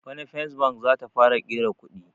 Bana first bank zata fara ƙera kuɗi